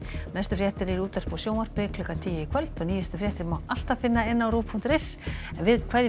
næstu fréttir eru í útvarpi og sjónvarpi klukkan tíu í kvöld og nýjustu fréttir má alltaf finna á rúv punktur is en við kveðjum